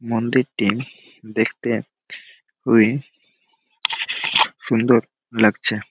মন্দিরটি দেখতে খুবই সুন্দর লাগছে ।